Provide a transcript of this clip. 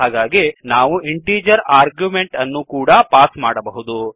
ಹಾಗಾಗಿ ನಾವು integer argument ಅನ್ನು ಕೂಡ ಪಾಸ್ ಮಾಡಬಹುದು